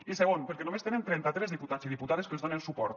i segon perquè només tenen trenta tres diputats i diputades que els donen suport